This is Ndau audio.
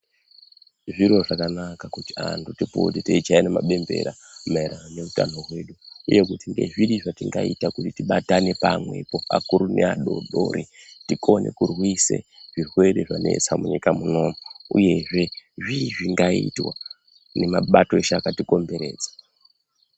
Zviro zvakanaka kuti anhu tipote teichayane mabembera maereranoo neutano hwedu uye kuti ngezviri zvatingaite kuti tibatane pamwepo akuru neadoridori tikone kurwise zvirwere zvanesa munyika munomu uyezve zvii zvingaitwa ngemabato ese akatikomberedza.